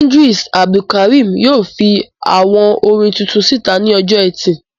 Idris Abdulkarim yóò fi àwo orin tuntun síta ní ọjọ́-ẹtì.